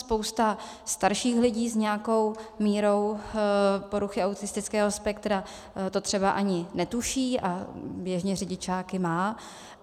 Spousta starších lidí s nějakou mírou poruchy autistického spektra to třeba ani netuší a běžně řidičáky má.